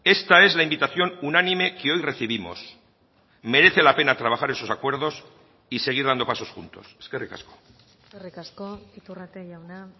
esta es la invitación unánime que hoy recibimos merece la pena trabajar esos acuerdos y seguir dando pasos juntos eskerrik asko eskerrik asko iturrate jauna